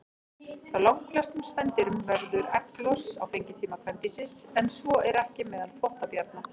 Hjá langflestum spendýrum verður egglos á fengitíma kvendýrsins, en svo er ekki meðal þvottabjarna.